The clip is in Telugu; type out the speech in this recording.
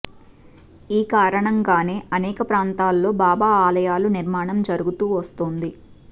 ఈ కారణంగానే అనేక ప్రాంతాల్లో బాబా ఆలయాల నిర్మాణం జరుగుతూ వస్తోంది